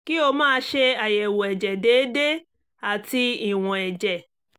kí o máa ṣe àyẹ̀wò ẹ̀jẹ̀ déédé àti ìwọ̀n ẹ̀jẹ̀